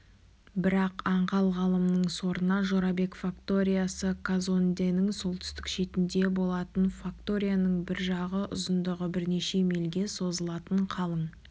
бірақ аңғал ғалымның сорына жорабек факториясы казонденің солтүстік шетінде болатын факторияның бір жағы ұзындығы бірнеше мильге созылатын қалың